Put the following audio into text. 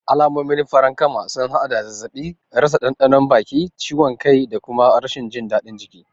Alamomin farankama sun haɗa da zazzaɓi, rasa ɗanɗanon baki, ciwon kai da kuma rashin jin daɗin jiki.